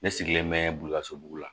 Ne sigilen bɛ boli ka so dugu la